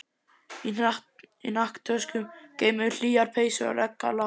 Í hnakktöskum geymum við hlýjar peysur og regngalla.